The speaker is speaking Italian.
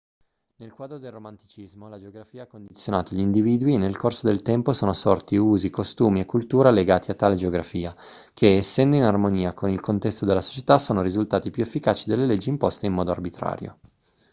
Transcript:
nel quadro del romanticismo la geografia ha condizionato gli individui e nel corso del tempo sono sorti usi costumi e cultura legati a tale geografia che essendo in armonia con il contesto della società sono risultati più efficaci delle leggi imposte in modo arbitrario